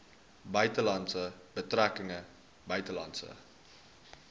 buitelandse betrekkinge buitelandse